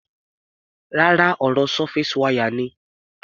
Rárá, ọ̀rọ̀ surface wire ni.